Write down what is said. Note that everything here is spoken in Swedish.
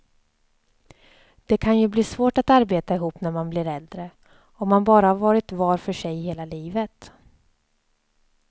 Det kan ju bli svårt att arbeta ihop när man blir äldre, om man bara har varit var för sig hela livet.